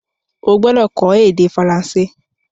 O gbọ́dọ̀ kó ède Faransé